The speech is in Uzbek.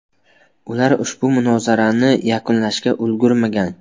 Ular ushbu munozarani yakunlashga ulgurmagan.